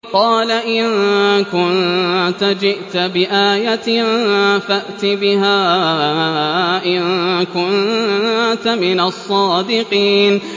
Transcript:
قَالَ إِن كُنتَ جِئْتَ بِآيَةٍ فَأْتِ بِهَا إِن كُنتَ مِنَ الصَّادِقِينَ